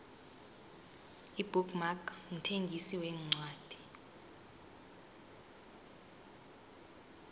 ibook mark mthengisi wencwadi